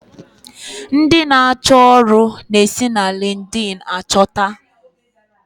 Ndi n'acho ọrụ n'esi na lindin achota